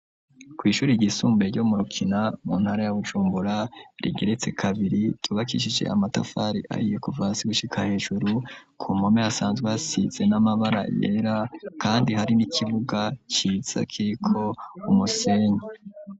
Kw'ishuri rgisumbuye ryo murukina mu ntara yabujumbura rigeretse kabiri ryubakishije amatafari ayiye kuvasi gushika hejuru ku mpome asanzwe hasize n'amabara yera, kandi hari n'ikibuga ciza kiko umusenyi.